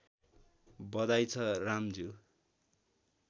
बधाइ छ रामज्यू